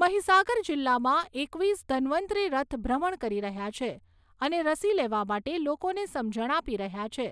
મહીસાગર જિલ્લામાં એકવીસ ધન્વંતરિ રથ ભ્રમણ કરી રહ્યા છે અને રસી લેવા માટે લોકોને સમજણ આપી રહ્યા છે